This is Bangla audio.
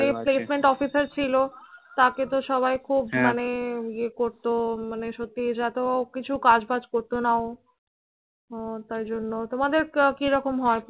যে placement officer ছিল তাকে তো সবাই খুব, হ্যাঁ, মানে ইয়ে করতো মানে সত্যি এত কিছু কাজ বাজ করতো না ও। হম তাই জন্যে। তোমাদের কিরকম হয়?